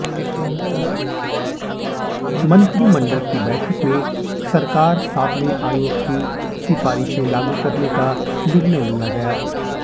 मंत्रिमंडल की बैठक में सरकार सातवें आयोग की सिफारिशें लागू करने का निर्णय लिया गया